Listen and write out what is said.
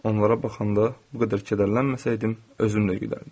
Onlara baxanda bu qədər kədərlənməsəydim, özüm də gülərdim.